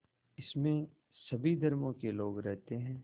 इसमें सभी धर्मों के लोग रहते हैं